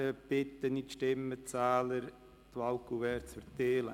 Dann bitte ich die Stimmenzähler, die Wahlkuverts zu verteilen.